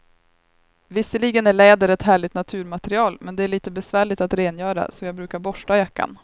Visserligen är läder ett härligt naturmaterial, men det är lite besvärligt att rengöra, så jag brukar borsta jackan.